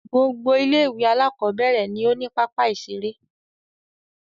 Gbogbo ilé-ìwé alákọ̀ọ́bẹ̀rẹ̀ ni ó ní pápá-ìṣeré.